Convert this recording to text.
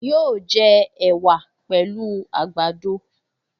Yóò jẹ ẹ̀wà pẹ̀lú àgbàdo